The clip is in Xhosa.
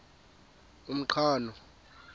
umqhano